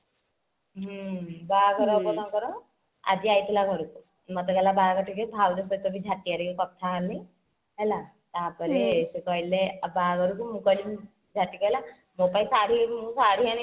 ହଁ ବାହାଘର ହେବ ତାଙ୍କର ଆଜି ଆଇଥିଲା ଘରକୁ ମତେ କହିଲା ବାହାଘର ଦେଖିବୁ ଭାଉଜଙ୍କ ସହ ଟିକେ କଥା ହେଲି ହେଲା ତାପରେ ସୋଉଠୁ କହିଲେ ଆଉ ବାହାଘରକୁ ମୁଁ କହିଲି ଝାଟି କହିଲା ମୋ ପାଇଁ ଶାଢୀ ମୋ ପାଇଁ ଶାଢୀ ଆଣି